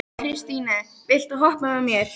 Kristine, viltu hoppa með mér?